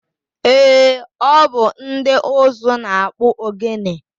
Eé, ọ bụ ndị ụzụ na-akpụ ogene.